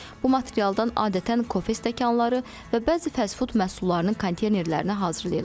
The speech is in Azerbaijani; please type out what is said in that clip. Bu materialdan adətən kofe stəkanları və bəzi fast-food məhsullarının konteynerlərini hazırlayırlar.